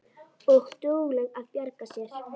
Og dugleg að bjarga sér.